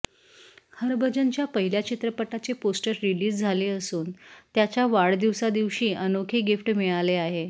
हरभजनच्या पहिल्या चित्रपटाचे poster release झाले असून त्याच्या वाढदिवसा दिवशी अनोखे गिफ्ट मिळाले आहे